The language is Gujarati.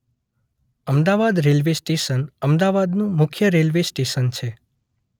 અમદાવાદ રેલ્વે સ્ટેશન અમદાવાદનું મુખ્ય રેલ્વે સ્ટેશન છે.